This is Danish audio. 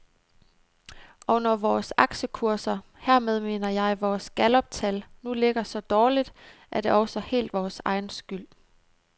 Og når vores aktiekurser, hermed mener jeg vores galluptal, nu ligger så dårligt, er det også helt vores egen skyld.